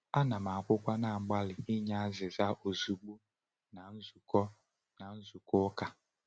Ana m akwukwa na-agbalị inye azịza ozugbo na nzukọ na nzukọ ụka.